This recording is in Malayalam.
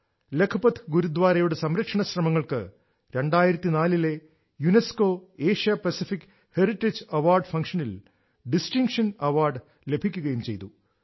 ലഖ്പത് ഗുരുദ്വാരയുടെ സംരക്ഷണ ശ്രമങ്ങൾക്ക് 2004 ലെ UNESCO Asia Pacific heritage award ഫംഗ്ഷനിൽ ഡിസ്ടിംഗ്ഷൻ അവാർഡ് ലഭിക്കുകയും ചെയ്തു